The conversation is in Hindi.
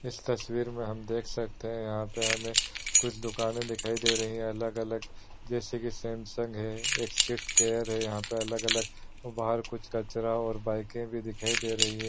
इस तस्वीर में हम देख सकते हैं यहाँ पे हमे कुछ दुकाने दिखाई दे रही हैं अलग-अलग जैसे की सैमसंग हैंएक्सिस केयर है यहाँ पे अलग-अलग बाहर कुछ कचरा और बाइके भी दिखाई दे रही हैं।